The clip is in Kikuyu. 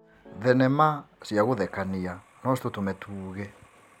Thenema cia gũthekania no citũtũme tuuge.